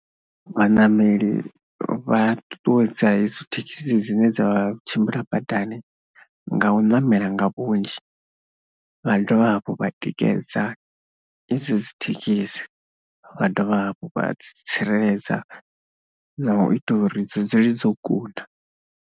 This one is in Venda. Vhaṋameli vha ṱuṱuwedza edzo thekhisi dzine dza tshimbila badani nga u ṋamela nga vhunzhi, vha dovha hafhu vha tikedza idzo dzi thekhisi, vha dovha hafhu vha tsireledza nga u ita uri dzi dzule dzo kuna.